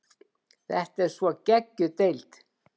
Þetta er svo geggjuð deild.